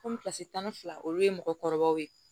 Komi kilasi tan ni fila olu ye mɔgɔkɔrɔbaw ye